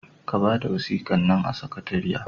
Ka bada wasikan nan a sakatariya!